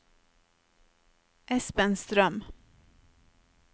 Espen Strøm